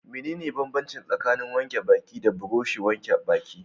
Mene ne banbanci tsakanin wanke baki da burushin wanke baki?